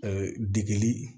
degeli